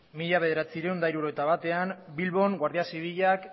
mila bederatziehun eta hirurogeita batean bilbon guardia zibilak